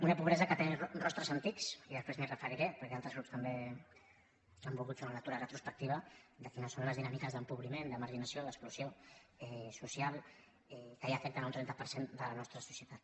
una pobresa que té rostres antics i després m’hi referiré perquè altres grups també han volgut fer una lectura retrospectiva de quines són les dinàmiques d’empobriment de marginació d’exclusió social que ja afecten un trenta per cent de la nostra societat